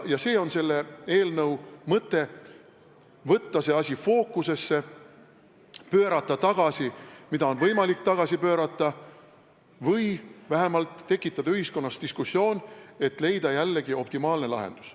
See on selle eelnõu mõte: võtta see asi fookusesse, pöörata tagasi, mida on võimalik tagasi pöörata, või vähemalt tekitada ühiskonnas diskussioon, et leida optimaalne lahendus.